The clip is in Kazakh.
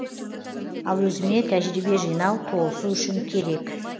ал өзіме тәжірибе жинау толысу үшін керек